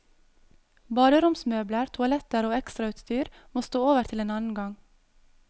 Baderomsmøbler, toaletter og ekstrautstyr må stå over til en annen gang.